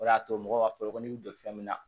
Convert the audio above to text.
O de y'a to mɔgɔw ka foro kɔnɔ n'i bɛ joli fɛn min na